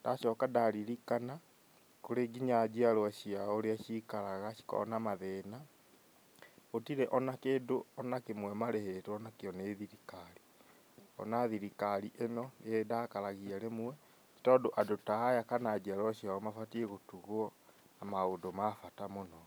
ndacoka ndaririkana nĩ kũrĩ nginya njiarwo ciao ũrĩa cikaraga, cikoragwo na mathĩna, gũtirĩ ona kĩndũ ona kĩmwe marĩhĩtwo nakĩo nĩ thirikari, ngona thirikari ĩno nĩ ĩndakaragia rĩmwe, nĩ tondũ andũ taya kana njiarwa ciao mabatiĩ gũtugwa na maũndũ ma bata mũno.